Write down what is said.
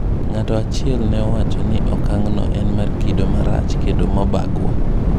Ng'ato achiel ne owacho ni okang'no en mar kido marach kendo mabagua.